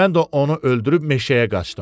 Mən də onu öldürüb meşəyə qaçdım.